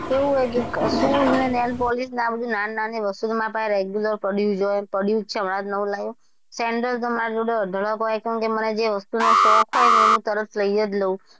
એવું છે કે shoes ને nail polish આ બધું નાની -નાની વસ્તુઓ મારી પાસે regular પડ્યુ જ હોય પળ્યું જ છે હમણાં નવું લાવ્યું sandel તો મારી જોડે અઢળક હોય કેમકે મને જે વસ્તુ નો શોખ હોય ને એ હું તરત લઇ જ લવ.